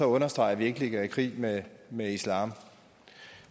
understreget at vi ikke ligger i krig med med islam